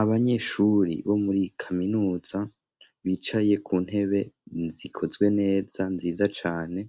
abanyeshuri bo muri kaminuza bicaye ku ntebe zikozwe neza nziza cyane